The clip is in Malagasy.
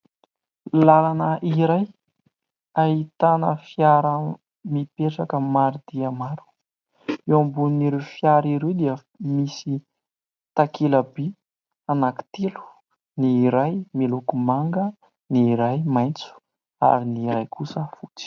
Lalana iray ahitana fiara mipetraka maro dia maro. Eo ambonin'ireo fiara ireo dia misy takelaby anankitelo : ny iray miloko manga, ny iray maitso ary ny iray kosa fotsy.